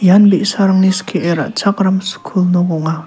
ian bi·sarangni skie ra·chakram skul nok ong·a.